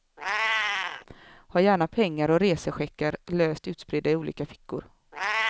Ha gärna pengar och resecheckar löst utspridda i olika fickor.